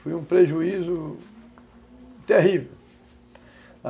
Fui um prejuízo terrível.